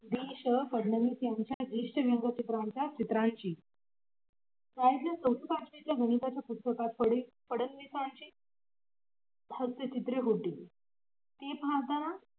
त्यांच्या ज्येष्ठ व्यंगचित्रांच्या चित्राची गणिताचे पुस्तकात फडणवीसाची हास्यचित्रे होती ती फाडताना